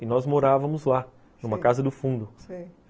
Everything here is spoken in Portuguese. E nós morávamos lá, numa casa do fundo, sei.